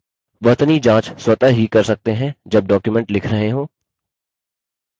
वर्तनी जाँच स्वतः ही कर सकते हैं जब document लिख रहे हों